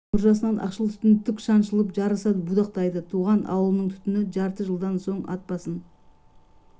үйдің мұржасынан ақшыл түтін тік шаншылып жарыса будақтайды туған ауылының түтін жарты жылдан соң ат басын